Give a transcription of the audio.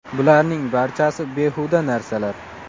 Bularning barchasi behuda narsalar.